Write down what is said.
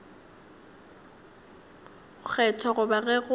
go kgethwa goba ge go